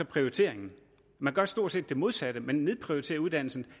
prioriteringen man gør stort set det modsatte man nedprioriterer uddannelserne